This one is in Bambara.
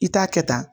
I t'a kɛ tan